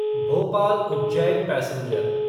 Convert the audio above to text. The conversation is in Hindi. भोपाल उज्जैन पैसेंजर